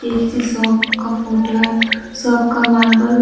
ये किसी शॉप का फोटो है शॉप का मार्बल --